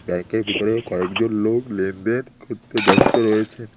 ব্যাংকের ভিতরে কয়েকজন লোক লেনদেন করতে ব্যস্ত রয়েছেন।